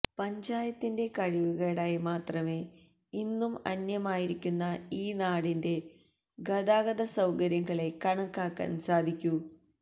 പഞ്ചായത്തിന്റെ കഴിവുകേടായി മാത്രമേ ഇന്നും അന്യമായിരിക്കുന്ന ഈ നാടിന്റെ ഗതാഗത സൌകര്യങ്ങളെ കണക്കാക്കാന് സാധിക്കു